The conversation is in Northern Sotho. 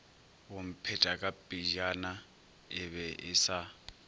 bomphetakapejana e be e sa